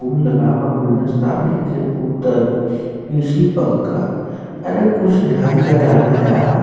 फुल लगा बा गुलदस्ता मे एक खे बोतल ए.सी. पंखा अरे कुछ ढंग का डाला यार --